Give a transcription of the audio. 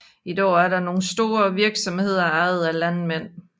I dag er der nogle store virksomheder ejet af landmænd